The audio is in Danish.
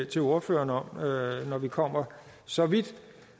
til ordføreren om når vi kommer så vidt